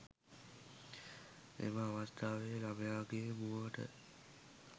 එම අවස්ථාවේ ළමයාගේ මුවට